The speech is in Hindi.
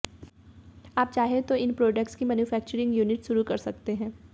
आप चाहें तो इन प्रोडक्ट्स की मैन्युफैक्चरिंग यूनिट शुरू कर सकते हैं